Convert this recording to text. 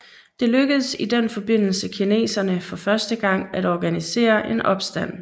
Det lykkedes i den forbindelse kineserne for første gang at organisere en opstand